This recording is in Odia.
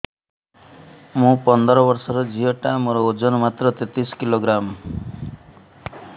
ମୁ ପନ୍ଦର ବର୍ଷ ର ଝିଅ ଟା ମୋର ଓଜନ ମାତ୍ର ତେତିଶ କିଲୋଗ୍ରାମ